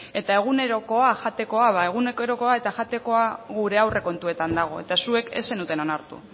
eta egunerokoa jatekoa ba egunerokoa eta jatekoa gure aurre kontuetan dago eta zuek ez zenuten onartu